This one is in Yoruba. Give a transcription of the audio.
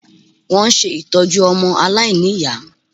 Wọ́n ń ṣe ìtọ́jú ọmọ aláìníyàá